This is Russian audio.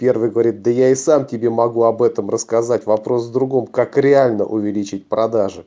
первый говорит да я и сам тебе могу об этом рассказать вопрос в другом как реально увеличить продажи